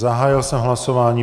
Zahájil jsem hlasování.